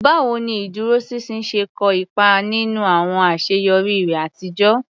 Báwo ni ìdúróṣinṣin ṣe kó ipa nínú àwọn àṣeyọrí rẹ àtijọ́?